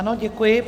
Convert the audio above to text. Ano, děkuji.